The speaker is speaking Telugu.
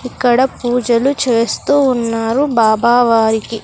ఇక్కడ పూజలు చేస్తూ ఉన్నారు బాబా వారికి.